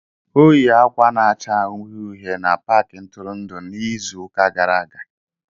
O yikwa akwa na-acha uhie uhie na Pááki ntụrụndụ n'izu ụka gara aga